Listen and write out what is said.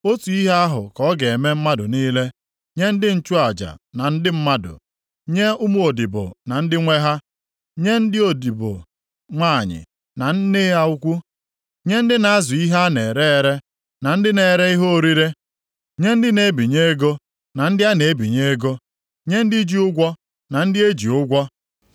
Otu ihe ahụ ka ọ ga-eme mmadụ niile, nye ndị nchụaja ma ndị mmadụ, nye ụmụodibo na ndị nwe ha, nye ndị odibo nwanyị, na nne ha ukwu, nye ndị na-azụ ihe a na-ere ere, na ndị na-ere ihe orire; nye ndị na-ebinye ego, na ndị a na-ebinye ego; nye ndị ji ụgwọ, na ndị e ji ụgwọ.